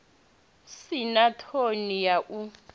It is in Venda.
si na ṱhoni ya u